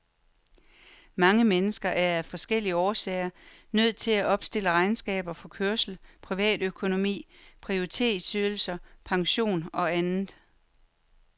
Mange mennesker er af forskellige årsager nødt til at opstille regnskaber for kørsel, privatøkonomi, prioritetsydelser, pension og andet.